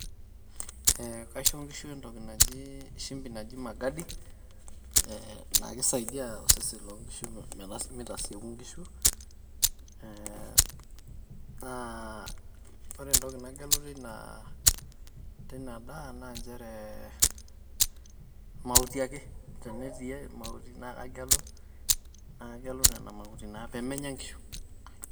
Eh ,kaisho nkishu entoki naji shimbi naji magadi eh na kisaidia osesen loo nkishu mitasieku nkishu eh naa ore entoki nagelu teinaa teina daa naa nchere mauti ake. tenetii mauti naa kagelu naa kagelu nena mauti naa pemenya nkishu .